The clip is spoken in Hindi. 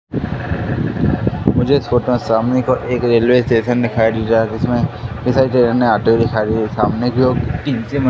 मुझे इस फोटो में सामने की ओर एक रेलवे स्टेशन दिखाई जिसमें दिखाई दे सामने की ओर --